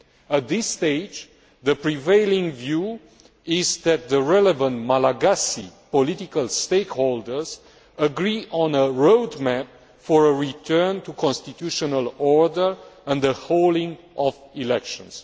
At this stage, the prevailing view is that the relevant Malagasy political stakeholders agree on a road map for a return to constitutional order and the holding of elections.